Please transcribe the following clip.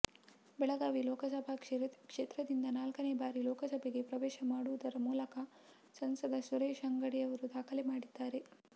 ಬೆಳಗಾವಿ ಲೋಕಸಭಾ ಕ್ಷೇತ್ರದಿಂದ ನಾಲ್ಕನೇ ಬಾರಿ ಲೋಕಸಭೆಗೆ ಪ್ರವೇಶ ಮಾಡುವುದರ ಮೂಲಕ ಸಂಸದ ಸುರೇಶ ಅಂಗಡಿ ಅವರು ದಾಖಲೆ ಮಾಡಿದ್ದಾರೆ